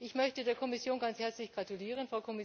Ich möchte der Kommission ganz herzlich gratulieren.